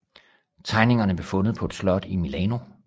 Tegningerne blev fundet på et slot i Milano